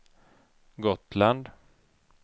Gotland